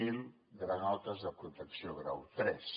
zero granotes de protecció grau tres